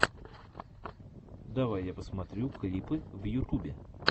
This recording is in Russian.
давай я посмотрю клипы в ютубе